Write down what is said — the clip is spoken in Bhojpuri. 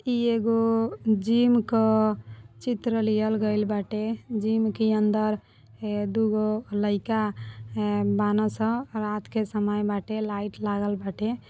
ई एगो जिम क चित्र लिहल गईल बाटे। जिम के अंदर ए दुगो लइका ए बाना सन। रात के समय बाटे लाइट लागल बाटे।